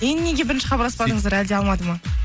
енді неге бірінші хабарласпадыңыздар әлде алмады ма